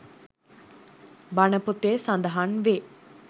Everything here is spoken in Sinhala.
බණ පොතේ සඳහන් වේ.